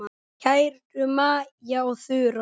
Kæru Maja og Þura.